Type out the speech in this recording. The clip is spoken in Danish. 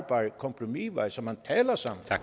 kompromisvej så man taler sammen